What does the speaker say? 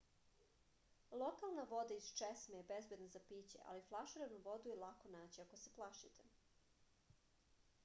lokalna voda iz česme je bezbedna za piće ali flaširanu vodu je lako naći ako se plašite